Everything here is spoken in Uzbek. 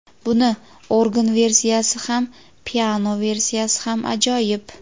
Buni organ versiyasi ham piano versiyasi ham ajoyib.